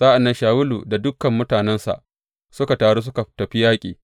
Sa’an nan Shawulu da dukan mutanensa suka taru suka tafi yaƙi.